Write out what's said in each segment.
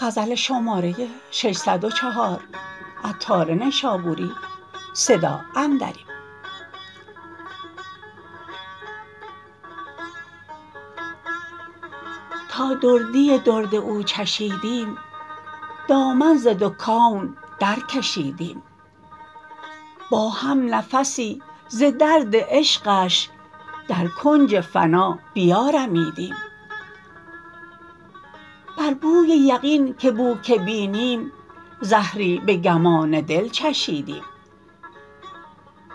تا دردی درد او چشیدیم دامن ز دو کون در کشیدیم با هم نفسی ز درد عشقش در کنج فنا بیارمیدیم بر بوی یقین که بو که بینیم زهری به گمان دل چشیدیم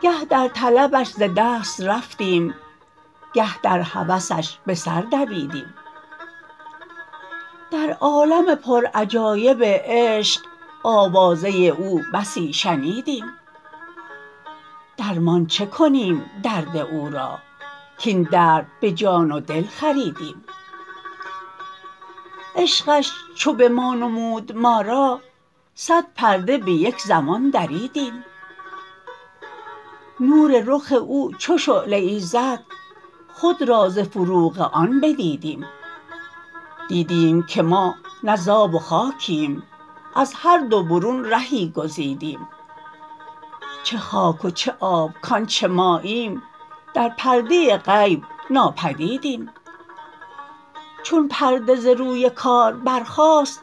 گه در طلبش ز دست رفتیم گه در هوسش به سر دویدیم در عالم پر عجایب عشق آوازه او بسی شنیدیم درمان چه کنیم درد او را کین درد به جان و دل خریدیم عشقش چو به ما نمود ما را صد پرده به یک زمان دریدیم نور رخ او چو شعله ای زد خود را ز فروغ آن بدیدیم دیدیم که ما نه ز آب و خاکیم از هر دو برون رهی گزیدیم چه خاک و چه آب کانچه ماییم در پرده غیب ناپدیدیم چون پرده ز روی کار برخاست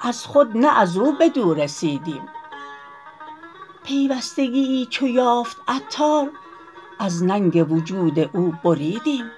از خود نه ازو بدو رسیدیم پیوستگیی چو یافت عطار از ننگ وجود او بریدیم